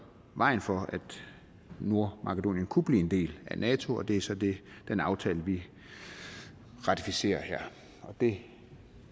vejen for at nordmakedonien kunne blive en del af nato og det er så den aftale vi ratificerer her og det